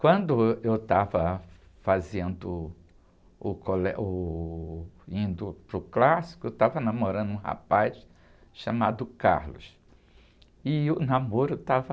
Quando ãh, eu estava fazendo o colé, uh, indo para o clássico, eu estava namorando um rapaz chamado e o namoro estava